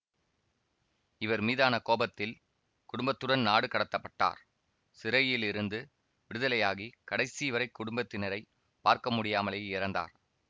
இவர் மீதான கோபத்தில் குடும்பத்துடன் நாடு கடத்த பட்டார் சிறையிலிருந்து விடுதலையாகி கடைசிவரை குடும்பத்தினரை பார்க்க முடியாமலே இறந்தார்